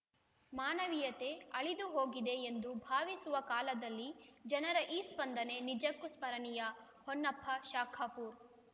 ಮಾನವೀಯತೆ ಅಳಿದುಹೋಗಿದೆ ಎಂದು ಭಾವಸುವ ಕಾಲದಲ್ಲಿ ಜನರ ಈ ಸ್ಪಂದನೆ ನಿಜಕ್ಕೂ ಸ್ಮರಣೀಯ ಹೊನ್ನಪ್ಪ ಶಾಖಾಪೂರ್